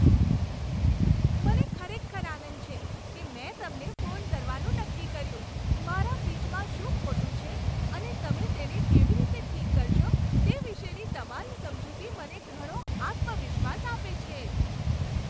મને ખરેખર આનંદ છે કે મેં તમને ફોન કરવાનું નક્કી કર્યું. મારા ફ્રિજમાં શું ખોટું છે અને તમે તેને કેવી રીતે ઠીક કરશો તે વિશેની તમારી સમજૂતી મને ઘણો આત્મવિશ્વાસ આપે છે.